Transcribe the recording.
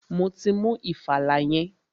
Mo ti mú ìfàlà yẹn.